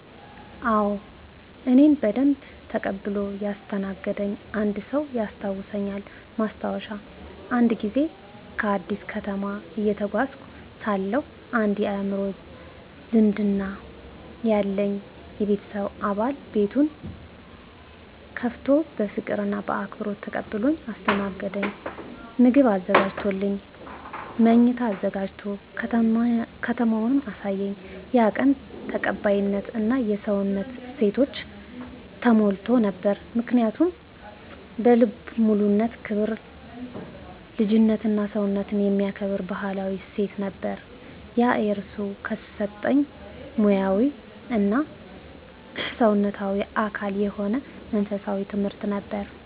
አዎ፣ እኔን በደንብ ተቀብሎ ያስተናገደኝ አንድ ሰው ያስታውሳልኝ። ማስታወሻ፦ አንድ ጊዜ በአዲስ ከተማ እየተጓዝኩ ሳለሁ አንድ የአእምሮ ዝምድና ያለኝ የቤተሰብ አባል ቤቱን ከፍቶ በፍቅር እና በአክብሮት ተቀብሎኝ አስተናገደኝ። ምግብ አዘጋጀልኝ፣ መኝታ አዘጋጀ፣ ከተማውንም አሳየኝ። ያ ቀን ተቀባይነት እና የሰውነት እሴት ተሞልቶ ነበር። ምክንያቱ? በልቡ ያለው ክብር፣ ልጅነትና ሰውነትን የሚከብር ባህላዊ እሴት ነበር። ያ እርሱ ከሰጠኝ ሙያዊ እና ሰውነታዊ አካል የሆነ መንፈሳዊ ትምህርት ነበር።